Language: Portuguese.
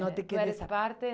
Não te queres a? é, tu